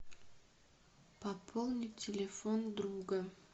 пополнить телефон друга